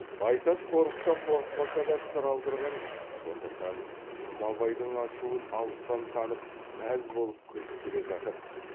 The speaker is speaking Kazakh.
байтас қорықса қорықпаса да сыр алдырған жоқ сондықтан жұмабайдың ашуын алыстан танып мәз болып күліп келе жатып